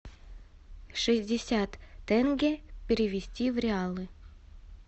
шестьдесят тенге перевести в реалы